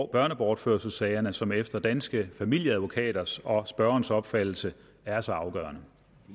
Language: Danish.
børnebortførelsessagerne som efter danske familieadvokaters og spørgerens opfattelse er så afgørende